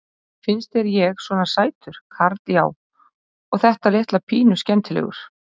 Finnst þér ég svona sætur karl já. og þetta litla pínu skemmtilegur?